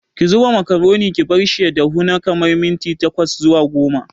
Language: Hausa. Ki zuba makaroni ki barshi ya dahu na kamar minti tkwas zuwa goma.